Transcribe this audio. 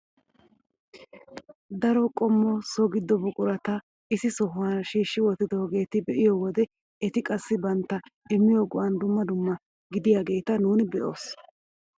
Daro qommo so giddo buqurata issi sohuwaa shiishi wottidoogeta be'iyoo wode eti qassi bantta immiyoo go"an dumma dumma gidaageta nuuni be'oos!